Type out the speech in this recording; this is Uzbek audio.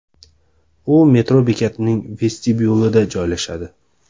U metro bekatining vestibyulida joylashadi.